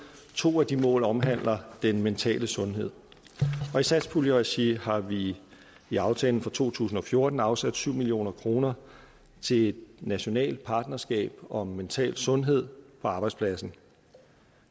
to af de mål omhandler den mentale sundhed og i satspuljeregi har vi i aftalen for to tusind og fjorten afsat syv million kroner til et nationalt partnerskab om mental sundhed på arbejdspladsen